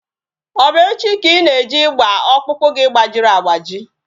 Ọ bụ echi ka Ị na-eje ịgba ọkpụkpụ gị gbajiri agbaji?